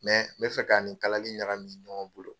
n b bɛ fɛ k'ani kalali ɲagami ɲɔgɔn bolo.